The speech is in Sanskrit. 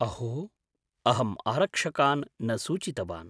अहो, अहम् आरक्षकान् न सूचितवान्।